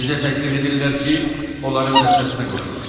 Bizə təklif edirlər ki, onların dəstəsinə qoşulaq.